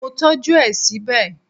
Mo tọ́jú ẹ síbẹ̀